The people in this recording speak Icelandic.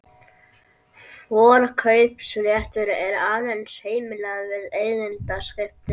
Forkaupsréttur er aðeins heimilaður við eigendaskipti.